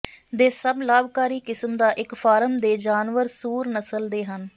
ਦੇ ਸਭ ਲਾਭਕਾਰੀ ਕਿਸਮ ਦਾ ਇੱਕ ਫਾਰਮ ਦੇ ਜਾਨਵਰ ਸੂਰ ਨਸਲ ਦੇ ਹਨ